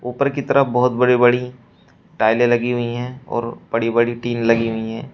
ऊपर की तरफ बहोत बड़ी बड़ी टाइले लगी हुई है और बहुत बड़ी बड़ी टीन लगी हुई है।